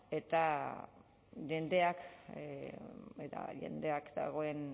eta jendea dagoen